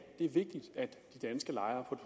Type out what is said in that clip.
det er vigtigt at de danske lejere